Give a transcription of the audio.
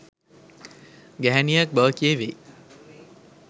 ගැහැණියක් බව කියැවෙයි